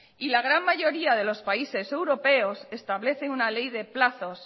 la gran mayoría de los países europeos establecen una ley de plazos